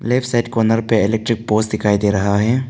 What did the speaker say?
Left side corner पर electric poles दिखाई दे रहा है।